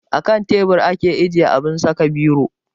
Akan teburi ake ajiye abun saka biro